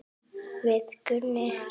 Við Gunni.